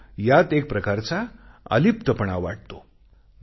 त्याला यात एक प्रकारचा अलिप्तपणा वाटतो